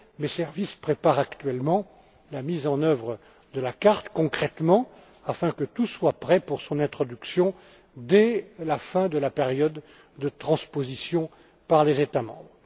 Mes services préparent actuellement la mise en œuvre concrète de la carte afin que tout soit prêt pour son introduction dès la fin de la période de transposition par les États membres.